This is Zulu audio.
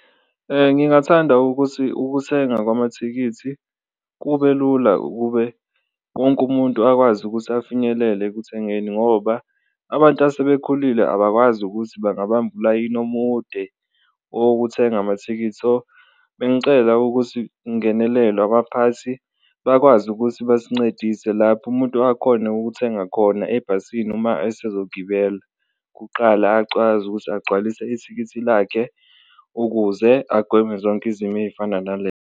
Ngingathanda ukuthi ukuthenga kwamathikithi kube lula ukube wonke umuntu akwazi ukuthi afinyelele ekuthengeni ngoba abantu asebekhulile abakwazi ukuthi bangabamba ulayini omude owokuthenga amathikithi. So, bengicela ukuthi ungenelelwe abaphathi bakwazi ukuthi basincedise lapho umuntu akhone ukuthenga khona ebhasini uma esezogibela, kuqala acwazi ukuthi agcwalise ithikithi lakhe ukuze agweme zonke izimo ey'fana .